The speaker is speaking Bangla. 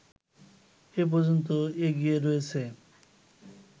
এ পর্যন্ত এগিয়ে রয়েছে